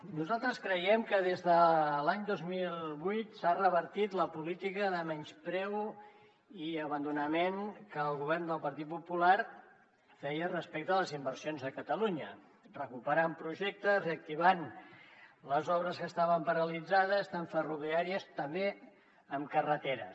nosaltres creiem que des de l’any dos mil vuit s’ha revertit la política de menyspreu i abandonament que el govern del partit popular feia respecte a les inversions a catalunya recuperant projectes reactivant les obres que estaven paralitzades tant ferroviàries com també en carreteres